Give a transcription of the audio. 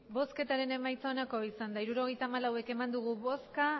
hirurogeita hamalau eman dugu bozka